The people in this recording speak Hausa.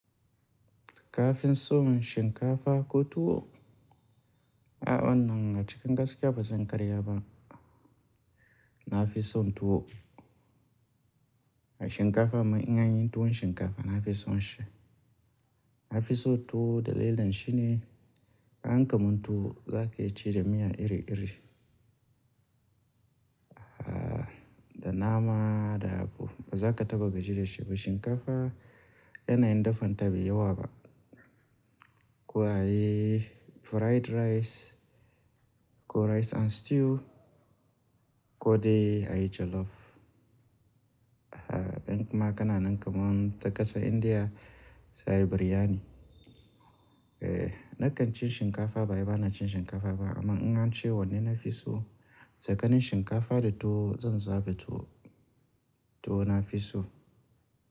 Kafin so shinkafa ko tuwo? A'a wannan a cikin gaskiya bazan karya ba. Nafison tuwo. Shinkafa amma in an yi tuwon shinkafa nafison shi. Nafiso tuwo dalilin shi ne an kamun tuwo zaka iya cire miya iri iri. Ah, da nama da abu bazaka taɓa gaji da shi ba. Shinkafa yanayin dafan ta bai yawa ba. Ko ayi fried rice ko rice and stew ko dai ayi jollof. Ah, ɗan kuma kana nan kaman ta ƙasan Indiya sai biryani. Eh, nakan ci shinkafa ba wai bana cin shinkafa ba amma in an ce wanne nafiso tsakanin shinkafa da tuwo zan zabi tuwo tuwo nafiso.